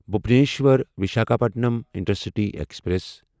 Bhubaneswar Visakhapatnam intercity express